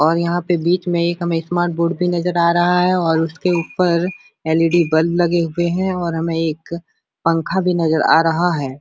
और यहां पे बीच में एक हमें स्मार्ट बोर्ड भी नजर आ रहा है और उसके ऊपर एल.ई.डी. बल्ब लगे हुए हैं और हमें एक पंखा भी नजर आ रहा है।